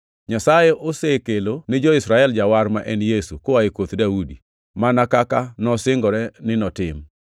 “Nyasaye osekelo ni jo-Israel Jawar ma en Yesu, koa e koth Daudi, mana kaka nosingore ni notim.